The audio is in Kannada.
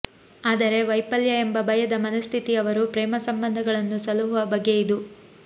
ಆದರೆ ವೈಫಲ್ಯ ಎಂಬ ಭಯದ ಮನಃಸ್ಥಿತಿಯವರು ಪ್ರೇಮ ಸಂಬಂಧಗಳನ್ನು ಸಲಹುವ ಬಗೆಯಿದು